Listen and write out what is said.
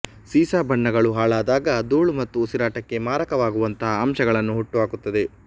ಸೀಸ ಬಣ್ಣಗಳು ಹಾಳಾದಾಗ ಧೂಳು ಮತ್ತು ಉಸಿರಾಟಕ್ಕೆ ಮಾರಕವಾಗುವಂತಹ ಅಂಶಗಳನ್ನು ಹುಟ್ಟುಹಾಕುತ್ತದೆ